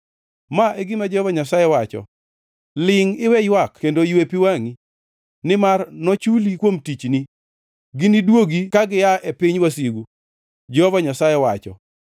Ma e gima Jehova Nyasaye wacho: “Lingʼ iwe ywak kendo ywe pi wangʼi, nimar nochuli kuom tichni. Giniduogi ka gia e piny wasigu.” Jehova Nyasaye wacho.